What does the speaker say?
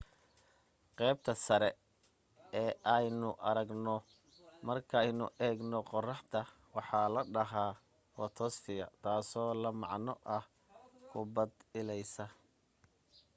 qaybta sare ee aynu aragno markaynu eegno qorraxda waxa la dhahaa footosphere taasoo la macno ah kubbad ilaysa